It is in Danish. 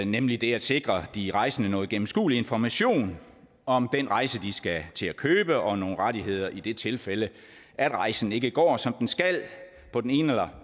nemlig det at sikre de rejsende noget gennemskuelig information om den rejse de skal til at købe og nogle rettigheder i det tilfælde at rejsen ikke går som den skal på den ene eller